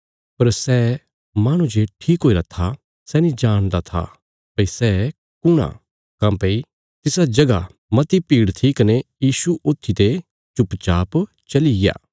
पर सै माहणु जे ठीक हुईरा था सै नीं जाणदा था भई सै कुण आ काँह्भई तिसा जगह मती भीड़ थी कने यीशु ऊत्थीते चुपचाप चलिग्या